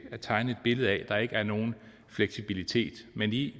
at tegne et billede af at der ikke er nogen fleksibilitet men i